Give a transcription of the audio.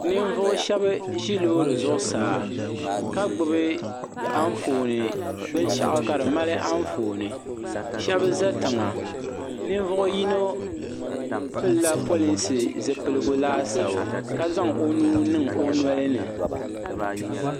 Ninvuɣu shɛba zi loori zuɣu saa ka gbubi binshaɣu ka di mali anfooni shɛba za tiŋa ninvuɣi yino pili la polinsi zupiligu laasabu ka zaŋ o nuu niŋ o noli ni.